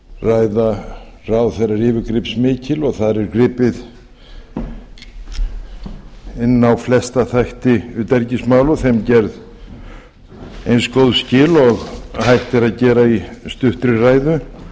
ræða ráðherra er yfirgripsmikil og þar er gripið inn á flesta þætti utanríkismála og þeim gerð eins og góð skil og hægt er að gera í stuttri ræðu